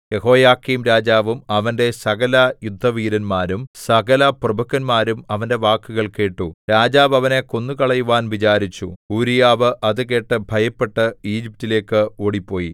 യെഹോയാക്കീംരാജാവും അവന്റെ സകലയുദ്ധവീരന്മാരും സകലപ്രഭുക്കന്മാരും അവന്റെ വാക്കുകൾ കേട്ടു രാജാവ് അവനെ കൊന്നുകളയുവാൻ വിചാരിച്ചു ഊരീയാവ് അത് കേട്ട് ഭയപ്പെട്ട് ഈജിപ്റ്റിലേക്ക് ഓടിപ്പോയി